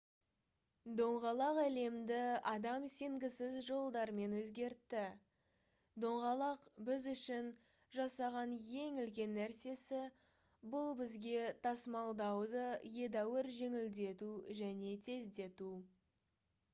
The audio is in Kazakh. доңғалақ әлемді адам сенгісіз жолдармен өзгертті доңғалақ біз үшін жасаған ең үлкен нәрсесі бұл бізге тасымалдауды едәуір жеңілдету және тездету